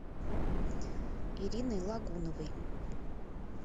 ириной лагуновой